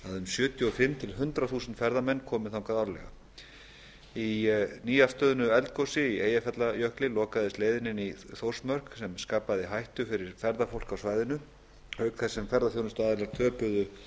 sjötíu og fimm til hundrað þúsund ferðamenn komi þangað árlega í nýafstöðnu eldgosi í eyjafjallajökli lokaðist leiðin inn í þórsmörk sem skapaði hættu fyrir ferðafólk á svæðinu auk þess sem ferðaþjónustuaðilar töpuðu